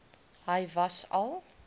hy was al